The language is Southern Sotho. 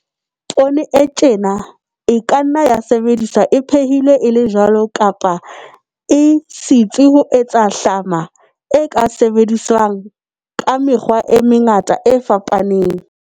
Poone e tjena e ka nna ya sebediswa e phehilwe e le jwalo kapa e sitswe ho etsa hlama e ka sebediswang ka mekgwa e mengata e fapaneng.